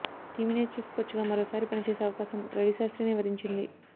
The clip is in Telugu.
టీమిండియా చీఫ్ కోచ్ గా మరోసారి పనిచేసే అవకాశం రవిశాస్త్రినే వరించింది